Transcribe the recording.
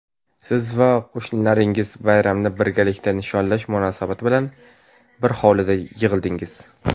siz va qo‘shnilaringiz bayramni birgalikda nishonlash munosabati bilan bir hovlida yig‘ildingiz.